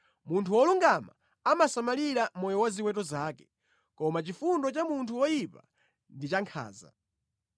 Munthu wolungama amasamalira moyo wa ziweto zake, koma chifundo cha munthu woyipa ndi chakhanza.